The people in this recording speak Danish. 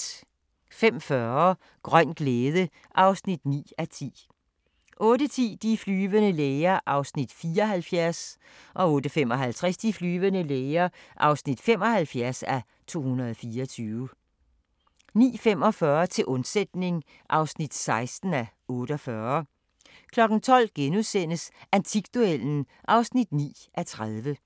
05:40: Grøn glæde (9:10) 08:10: De flyvende læger (74:224) 08:55: De flyvende læger (75:224) 09:45: Til undsætning (16:48) 12:00: Antikduellen (9:30)*